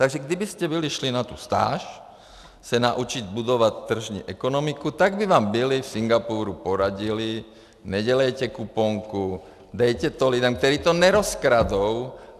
Takže kdybyste byli šli na tu stáž se naučit budovat tržní ekonomiku, tak by vám byli v Singapuru poradili: Nedělejte kuponku, dejte to lidem, kteří to nerozkradou.